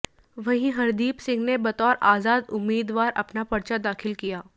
वहीं हरदीप सिंह ने बतौर आजाद उम्मीदवार अपना परचा दाखिल किया